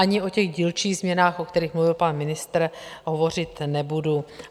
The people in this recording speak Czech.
Ani o těch dílčích změnách, o kterých mluvil pan ministr, hovořit nebudu.